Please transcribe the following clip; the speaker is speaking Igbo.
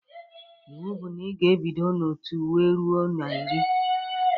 Iwu bụ na ị ga-ebido na otu wee ruo na iri!